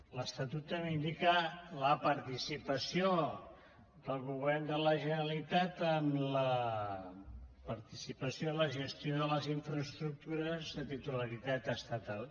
l’estatut també indica la participació del govern de la generalitat en la participació i la gestió de les infraestructures de titularitat estatal